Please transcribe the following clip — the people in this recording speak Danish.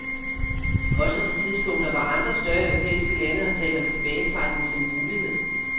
Også på tidspunkter hvor andre større europæiske lande har talt om tilbagetrækning som en mulighed.